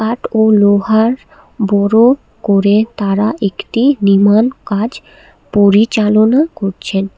কাঠ ও লোহার বড় করে তারা একটি নির্মাণ কাজ পরিচালনা করছেন।